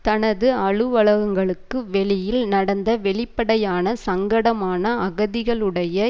தனது அலுவலகங்களுக்கு வெளியில் நடந்த வெளிப்படையான சங்கடமான அகதிகளுடைய